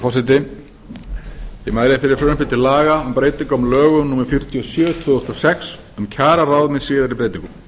laga um breyting á lögum númer fjörutíu og sjö tvö þúsund og sex um kjararáð með síðari breytingum frumvarpið